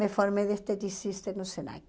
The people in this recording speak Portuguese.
Me formei de esteticista no SENAC.